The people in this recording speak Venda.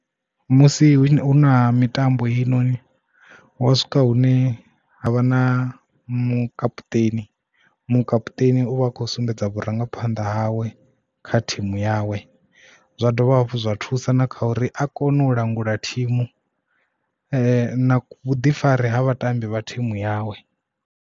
Musi hu na mitambo heyi noni huwa swika hune havha na mukaputeni, mukaputeni uvha a kho sumbedza vhurangaphanḓa hawe kha thimu yawe zwa dovha zwa thusa na kha uri a kone u langula thimu na vhuḓifari ha vhatambi vha thimu yawe.